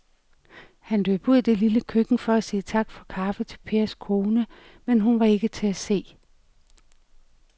Han løb ud i det lille køkken for at sige tak for kaffe til Pers kone, men hun var ikke til at se.